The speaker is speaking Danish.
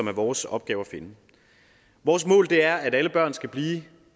er vores opgave at finde vores mål er at alle børn skal blive